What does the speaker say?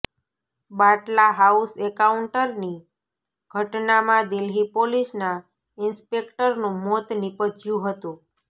બાટલા હાઉસ એન્કાઉન્ટરની ઘટનામાં દિલ્હી પોલીસના ઇન્સ્પેક્ટરનું મોત નિપજ્યું હતું